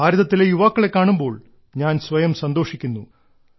ഭാരതത്തിലെ യുവാക്കളെ കാണുമ്പോൾ ഞാൻ സ്വയം സന്തോഷിക്കുന്നു